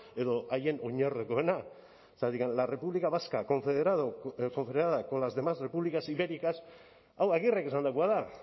edo haien oinordekoena zergatik la república vasca confederada con las demás repúblicas ibéricas hau agirrek esandakoa da